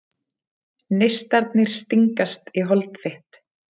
Neistarnir stingast í hold þitt.